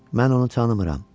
Mən onu tanımıram.